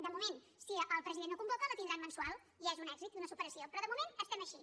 de moment si el president no convoca la tindran mensual i ja és un èxit i una superació però de moment estem així